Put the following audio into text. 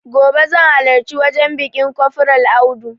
Gobe zan halarci wajen biƙin kofral audu